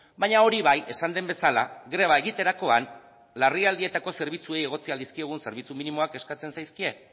baina hori bai esan den bezala greba egiterakoan larrialdietako zerbitzuei egotzi ahal dizkiegun zerbitzu minimoak eskatzen zaizkie